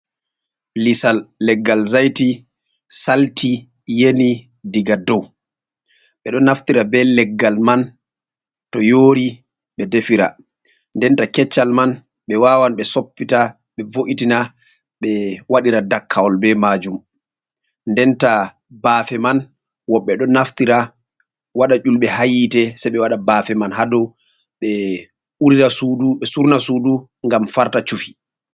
Lisal leggal zaiti salti yeni diga dow ɓeɗo naftira be leggal man to yori ɓe defira denta keccal man ɓe wawan ɓe soppita ɓe vo’itina ɓe waɗira dakkawol be majum denta bafe man woɓɓe ɗo naftira waɗa yulɓe ha hite se ɓe waɗa bafe man ha dou ɓe urira sudu ɓe surna sudu ngam farta shufi.